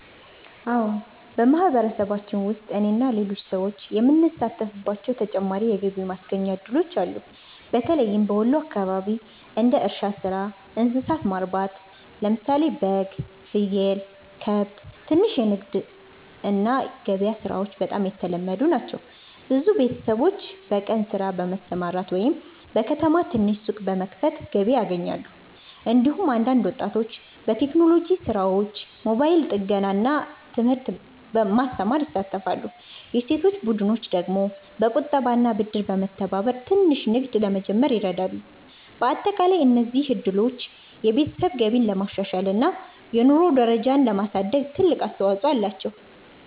አዎን፣ በማህበረሰባችን ውስጥ እኔና ሌሎች ሰዎች የምንሳተፍባቸው ተጨማሪ የገቢ ማስገኛ እድሎች አሉ። በተለይም በወሎ አካባቢ እንደ እርሻ ሥራ፣ እንስሳት ማርባት (በግ፣ ፍየል፣ ከብት)፣ ትንሽ ንግድ እና ገበያ ሥራዎች በጣም የተለመዱ ናቸው። ብዙ ቤተሰቦች በቀን ሥራ በመስራት ወይም በከተማ ትንሽ ሱቅ በመክፈት ገቢ ያገኛሉ። እንዲሁም አንዳንድ ወጣቶች በቴክኖሎጂ ሥራዎች፣ ሞባይል ጥገና እና ትምህርት ማስተማር ይሳተፋሉ። የሴቶች ቡድኖች ደግሞ በቁጠባና ብድር በመተባበር ትንሽ ንግድ ለመጀመር ይረዳሉ። በአጠቃላይ እነዚህ እድሎች የቤተሰብ ገቢን ለማሻሻል እና የኑሮ ደረጃን ለማሳደግ ትልቅ አስተዋፅኦ አላቸው።